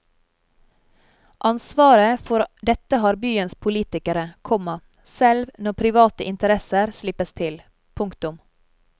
Ansvaret for dette har byens politikere, komma selv når private interesser slippes til. punktum